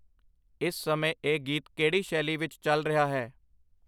ਇਸ ਸਮੇਂ ਇਹ ਗੀਤ ਕਿਹੜੀ ਸ਼ੈਲੀ ਵਿੱਚ ਚੱਲ ਰਿਹਾ ਹੈ